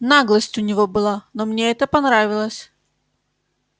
наглость у него была но мне это понравилось